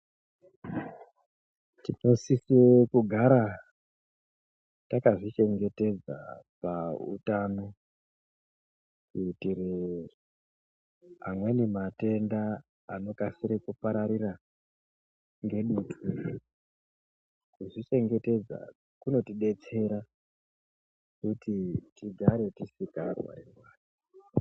Tinosise kugara takazvichengetedza pautano kuitire amweni matenda anokasire kupararira ngedutu . Kuzvichengetedza kunotidetsera kutitigare tisingarwari rwari.